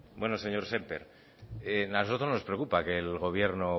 bueno señor sémper a nosotros nos preocupa que el gobierno